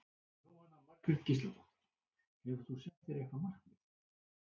Jóhanna Margrét Gísladóttir: Hefur þú sett þér eitthvað markmið?